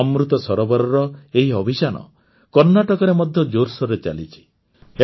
ଅମୃତ ସରୋବରର ଏହି ଅଭିଯାନ କର୍ଣ୍ଣାଟକରେ ମଧ୍ୟ ଜୋରସୋରରେ ଚାଲିଛି